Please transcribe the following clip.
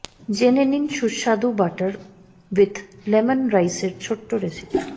জেনে নিন সুস্বাদু বাটার উইথ লেমন রাইসের ছোট্ট রেসিপি